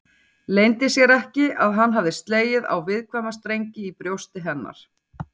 Leyndi sér ekki að hann hafði slegið á viðkvæma strengi í brjósti hennar.